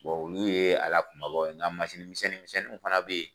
olu ye a lakumabaw ye n ka misɛnnin misɛnninw fana bɛ ye.